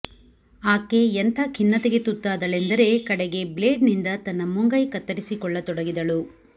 ಆಕೆ ಎಂಥ ಖಿನ್ನತೆಗೆ ತುತ್ತಾದಳೆಂದರೆ ಕಡೆಗೆ ಬ್ಲೇಡ್ನಿಂದ ತನ್ನ ಮುಂಗೈ ಕತ್ತರಿಸಿಕೊಳ್ಳತೊಡಗಿದಳು